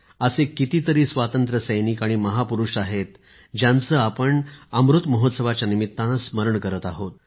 असे कितीतरी स्वातंत्र्य संग्राम सैनिक आणि महापुरुष आहेत ज्यांचे आपण यानिमित्ताने स्मरण करत आहोत